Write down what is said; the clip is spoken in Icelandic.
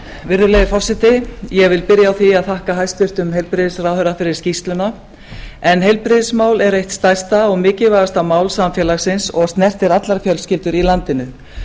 virðulegi forseti ég vil byrja á því að þakka hæstvirtum heilbrigðisráðherra fyrir skýrsluna en heilbrigðismál er eitt stærsta og mikilvægasta mál samfélagsins og snertir allar fjölskyldur í landinu